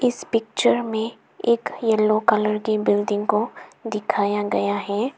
इस पिक्चर में एक येलो कलर की बिल्डिंग को दिखाया गया है।